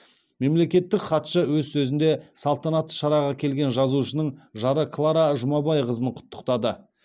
мемлекеттік хатшы өз сөзінде салтанатты шараға келген жазушының жары клара жұмабайқызын құттықтады